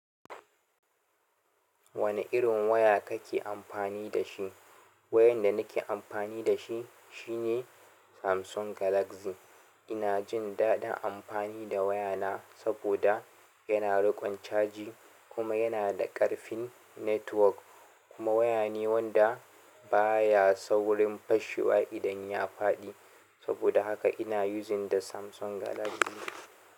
Wane irin waya kake amfani da shi? Wayan da nake amfani da shi shine Samsung Galaxy. Ina jin daɗin amfani da wayana saboda yana riƙon caji kuma yana da ƙarfin network. Kuma wayane wanda baya saurin fashewa idan ya faɗi saboda haka ina using da Samsung Galaxy.